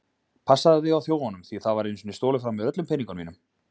Passaðu þig á þjófunum, því það var einu sinni stolið frá mér öllum peningnum mínum.